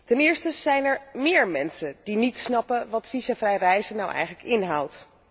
Ten eerste zijn er meer mensen die niet snappen wat visumvrij reizen nu eigenlijk inhoudt.